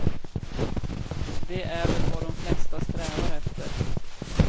Det är väl vad de flesta strävar efter.